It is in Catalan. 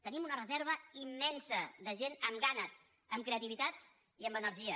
tenim una reserva immensa de gent amb ganes amb creativitat i amb energia